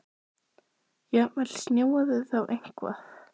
Höskuldur: Jafnvel snjóað þá eitthvað?